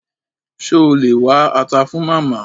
Ṣé o lè wá ata fun Màmá?